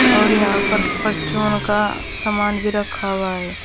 और यहां पर परचून का सामान भी रखा हुआ है।